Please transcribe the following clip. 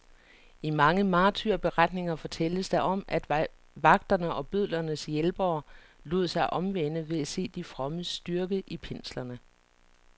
I mange martyrberetninger fortælles der om, at vagterne og bødlernes hjælpere lod sig omvende ved at se de frommes styrke i pinslerne.